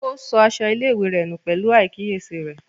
Ó sọ aṣọ ilé-ìwé rẹ nù pẹ̀lú àìkíyèsára rẹ̀.